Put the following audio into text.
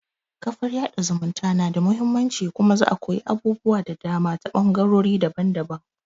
kafar yaɗa zumunta na da muhimmanci kuma za'a koyi abubuwa da dama ta ɓangarori daban-daban